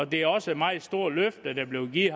det er også et meget stort løfte der blev givet